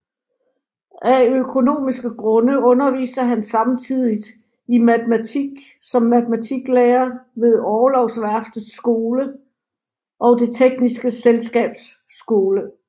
Af økonomiske grunde underviste han samtidigt i matematik som matematiklærer ved Orlogsværftets Skole og Det tekniske Selskabs Skole